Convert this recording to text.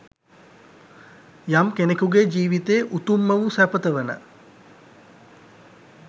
යම් කෙනෙකුගේ ජීවිතයේ උතුම්ම වූ සැපත වන